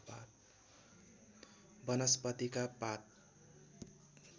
वनस्पतिका पात